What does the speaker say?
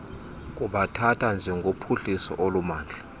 kubathatha njengophuhliso olumandla